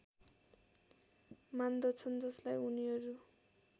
मान्दछन् जसलाई उनीहरू